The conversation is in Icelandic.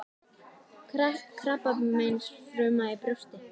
Krabbameinsfruma í brjósti.